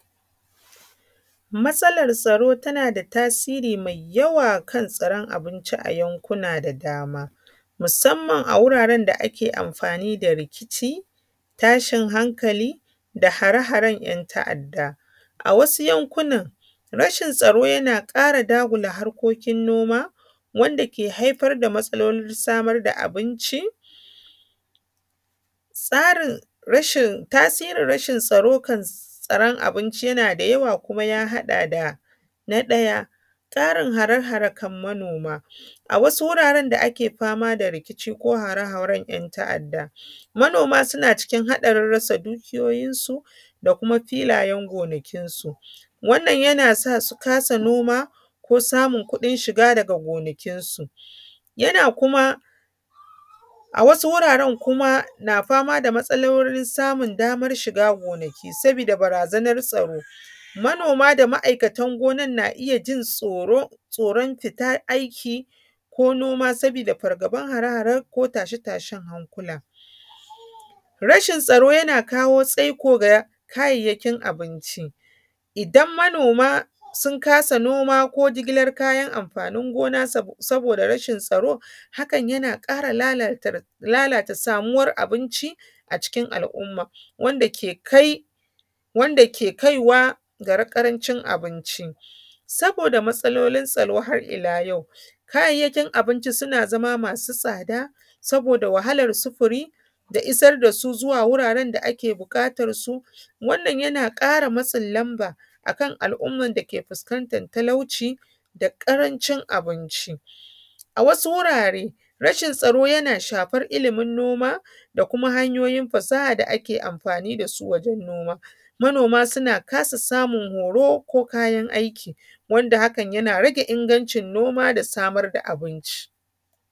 Matsalar tsaro tana da tasiri mai yawa kan tsaron abinci a yankuna da dama, musammam a wuraren da ake amfani da rikici, tashin hankali, da hare haren ‘yan ta’adda. A wasu yankunan rashin tsaro yana ƙara dagula harkokin noma, wanda ke haifar da matsalolin samar da abinci. Tasirin rashin tsaron abinci yana da yawa kuma ya haɗa da. Na ɗaya, tsarin hare hare kan manoma. A wasu wuraren da ake fama da rikici ko hare haren ‘yan ta’adda, manoma suna cikin haɗarin rasa dukiyoyinsu da kuma filayen gonakinsu. Wannan yana sa su kasa noma, ko samun kuɗin shiga daga gonakinsu. Yana kuma, a wasu wuraren kuma ana fama da matsalolin samun damar shiga gonaki, sabida barazanar tsaro. Manoma da ma’aikatan gonar na iya jin tsoron fita aiki ko noma saboda fargaban hare hare ko tashen tashen hankula. Rashin tsaro yana kawo tsaiko ga kayayyakin abinci. Idan manoma sun kasa noma ko jigilar kayan amfanin gona saboda rashin tsaro, hakan yana ƙara lalata samuwar abinci a cikin al’umma wanda ke kaiwa ga ƙarancin abinci. Saboda matsalolin tsaro har ila yau kayan abinci suna zama masu tsada, saboda wahalar sufuri, da isar da su wuraren da ake buƙatar su. Wannan yana ƙara matsin lamba a kam al’umman da ke fuskantar talauci da ƙarancin abinci. A wasu wurare rashin tsaro yana shafar ilimin noma da kuma hanyoyin fasaha da ake amfani da su wurin noma. Manoma suna kasa samun horo ko kayan aiki wanda hakan yana rage ingancin noma da samar da abinci.